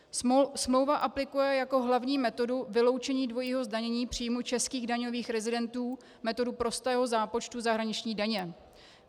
Smlouva aplikuje jako hlavní metodu vyloučení dvojího zdanění příjmů českých daňových rezidentů metodu prostého zápočtu zahraniční daně.